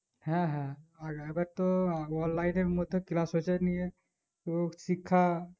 হ্যাঁ হ্যাঁ আর আবার তো online এর মধ্যে class হচ্ছে নিয়ে হো শিক্ষা